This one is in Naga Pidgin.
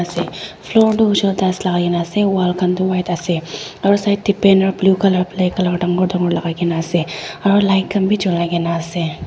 ase floor tu hoise koiley tiles lagai ke na ase wall khan tu white ase aru side teh banner blue colour black colour dangor dangor lagai ke na ase aru light khan bhi jolai ke na ase.